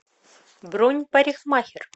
бронь парикмахер